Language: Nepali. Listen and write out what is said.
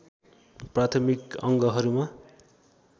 प्राथमिक अङ्गहरूमा